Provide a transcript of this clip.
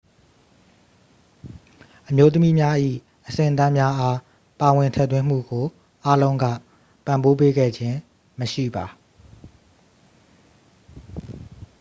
အမျိုးသမီးများ၏ အဆင့်အတန်းများအား ပါဝင်ထည့်သွင်းမှုကို အားလုံးက ပံ့ပိုးပေးခဲ့ခြင်းမရှိပါ